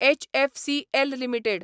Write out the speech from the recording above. HFCL limited